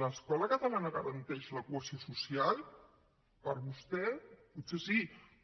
l’escola catalana garanteix la cohesió social per vostè potser sí